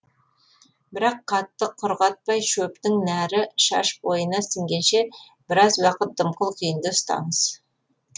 бірақ қатты құрғатпай шөптің нәрі шаш бойына сіңгенше біраз уақыт дымқыл күйінде ұстаңыз